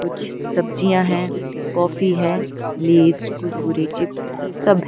कुछ सब्जियों है काफी है लेस कुरकुरे चिप्स सब --